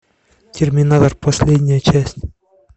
терминатор последняя часть